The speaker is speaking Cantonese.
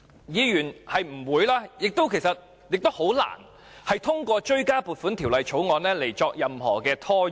議員不會也難以透過追加撥款條例草案作出任何拖延。